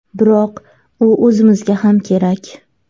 Biroq u o‘zimizga ham kerak.